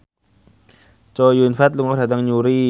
Chow Yun Fat lunga dhateng Newry